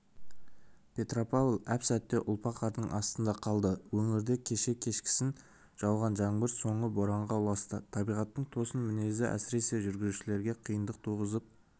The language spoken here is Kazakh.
петропавл әп-сәтте ұлпа қардың астында қалды өңірде кеше кешкісін жауған жаңбыр соңы боранға ұласты табиғаттың тосын мінезі әсіресе жүргізушілерге қиындық туғызып